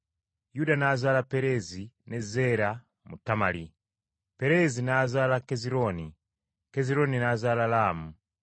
Yuda n’azaala Pereezi ne Zeera mu Tamali, Pereezi n’azaala Kezirooni, Kezirooni n’azaala Laamu.